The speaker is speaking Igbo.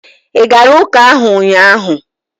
ị gara ụka ahụ ụnyaahụ?